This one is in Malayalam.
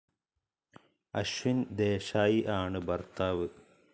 അശ്വിൻ ദേശായി ആണ് ഭർത്താവ്.